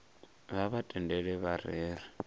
vha vha tendele vha rere